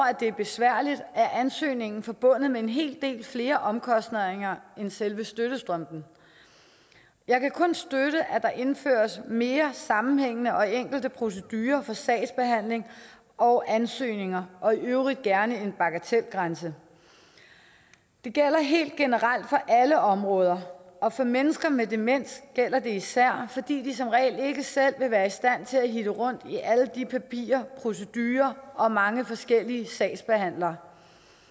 at det er besværligt er ansøgningen forbundet med en hel del flere omkostninger end selve støttestrømpen jeg kan kun støtte at der indføres mere sammenhængende og enkle procedurer for sagsbehandling og ansøgninger og i øvrigt gerne en bagatelgrænse det gælder helt generelt for alle områder og for mennesker med demens gælder det især fordi de som regel ikke selv vil være i stand til at hitte rundt i alle papirer procedurer og mange forskellige sagsbehandlere